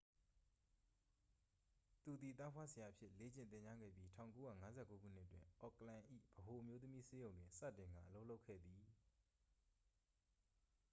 သူသည် သားဖွားဆရာအဖြစ် လေ့ကျင့်သင်ကြားခဲ့ပြီး 1959 ခုနှစ်တွင် အော့ကလန်၏ ဗဟိုအမျိုးသမီးဆေးရုံတွင် စတင်ကာ အလုပ်လုပ်ခဲ့သည်